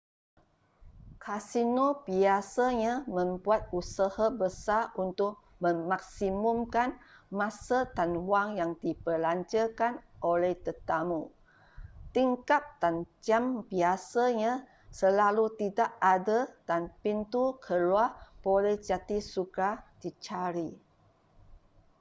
kasino biasanya membuat usaha besar untuk memaksimumkan masa dan wang yang dibelanjakan oleh tetamu tingkap dan jam biasanya selalu tidak ada dan pintu keluar boleh jadi sukar dicari